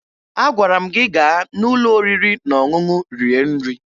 Agwara m gị gaa n'ụlọ oriri na ọṅụṅụ rie nri!